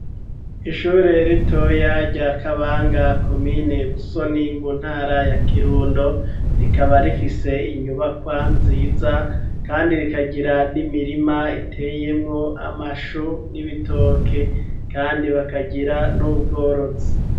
Ishure ritoya rya kabanga komine busoni mu ntara ya kirundo rikaba rifise inyubakwa nziza kandi rikagira n'imirima iteyemwo amashu n'ibitoke, kandi bakagira n'ubworozi.